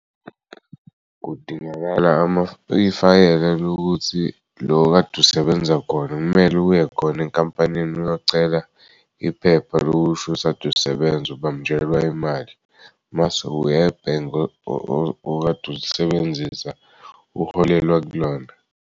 Kudingakala ifayela lokuthi lo okade usebenza khona kumele uye khona enkampanini uyocela iphepha lokushukuthi kadu sebenza ubanjelwe imali mase uyebhange okade ulisebenzisa uholelwe kulona.